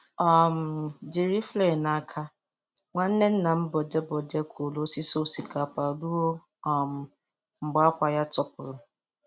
um Jiri flail n'aka, Nwanne nnam Bode Bode kụrụ osisi osikapa ruo um mgbe akwa ya tọpụrụ.